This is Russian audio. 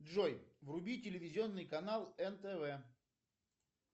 джой вруби телевизионный канал нтв